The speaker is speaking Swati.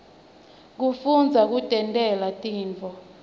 kufundza kutentela tintfo